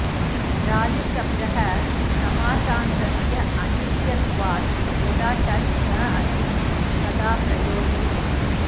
राजशब्दः समासान्तस्य अनित्यत्वाद् यदा टज् न अस्ति तदा प्रयोजयति